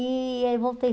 E aí, voltei.